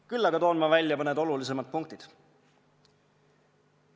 Küll aga toon ma välja mõned olulisemad punktid.